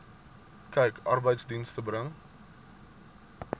kyk arbeidsdienste bring